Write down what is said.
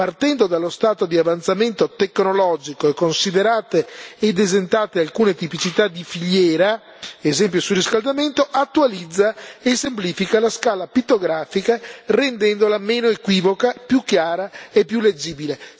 Partendo dallo stato di avanzamento tecnologico e considerate ed esentate alcune tipicità di filiera, ad esempio il surriscaldamento, attualizza e semplifica la scala pittografica, rendendola meno equivoca, più chiara e più leggibile.